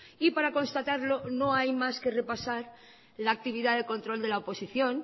y para constatarlo no hay más que repasar la actividad de control de la oposición